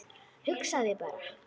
Hugsaðu þér bara!